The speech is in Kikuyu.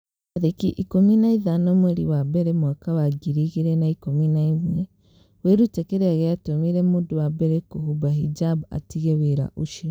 tarĩki ikũmi na ithano mweri wa mbere mwaka wa ngiri igĩrĩ na ikũmi na ĩmweWĩrute kĩrĩa gĩatũmire mũndũ wa mbere kũhumba hijab 'atige wĩra ũcio.